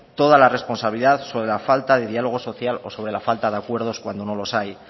toda la responsabilidad sobre la falta de diálogo social o sobre la falta de acuerdos cuando no los hay